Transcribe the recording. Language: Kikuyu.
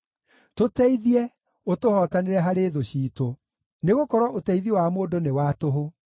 Tũteithie, ũtũhootanĩre harĩ thũ ciitũ, nĩgũkorwo ũteithio wa mũndũ nĩ wa tũhũ.